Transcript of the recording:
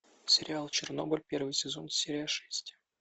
сериал чернобыль первый сезон серия шесть